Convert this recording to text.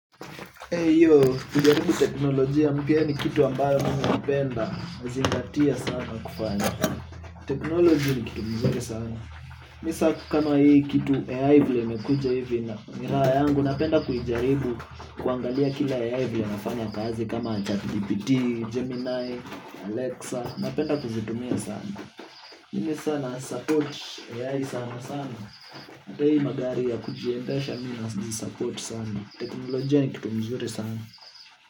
Hiyo, kujaribu teknolojia mpya ni kitu ambayo mimi hupenda nazingatia sana kufanya. Teknolojia ni kitu mzuri sana. Mimi sasa kama hii kitu AI vile imekuja hivi na miraa yangu ninapenda kuijaribu kuangalia kila AI vile inafanya kazi kama chat gpt, gemini, alexa napenda kuzitumia sana. Mimi sasa nasupport AI sana sana hata hii magari ya kujiendasha mimi naisupport sana teknolojia ni kitu mzuri sana.